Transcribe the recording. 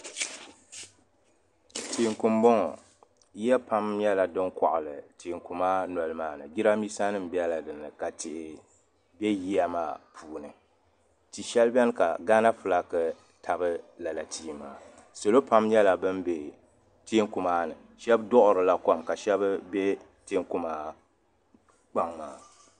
teeku m-bɔŋɔ ya pam nyɛla din kɔɣili teeku maa noli maa ni jiraaminsa nima bela din ni ka tihi be yiya maa puuni ti' shɛli beni ka Gaana fulaaki tabi lala tia maa salo pam nyɛla ban be teeku maa ni shɛba duɣiri la kom ka shɛba be teeku maa kpaŋa.